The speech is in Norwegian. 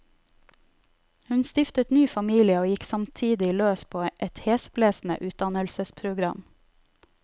Hun stiftet ny familie og gikk samtidig løs på et hesblesende utdannelsesprogam.